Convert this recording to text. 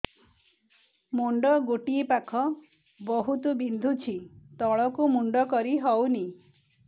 ମୁଣ୍ଡ ଗୋଟିଏ ପାଖ ବହୁତୁ ବିନ୍ଧୁଛି ତଳକୁ ମୁଣ୍ଡ କରି ହଉନି